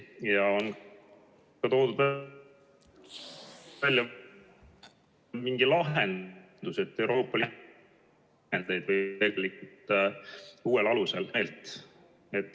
Ja ta toob välja mingi lahenduse, et Euroopa Liidu vahendeid jagataks uuel alusel.